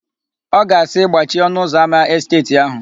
Ọ ga-asị, "gbachie ọnụụzọámá esteeti áhụ̀"